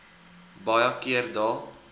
baie keer dae